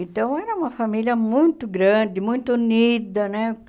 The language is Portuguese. Então, era uma família muito grande, muito unida, né?